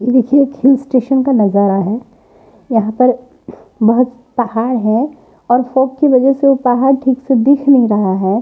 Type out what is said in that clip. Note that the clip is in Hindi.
ये देखिए एक हिल स्टेशन का नज़ारा है यहां पर बहुत पहाड़ है और फॉग की वजह से वो पहाड़ ठीक से दिख नहीं रहा है।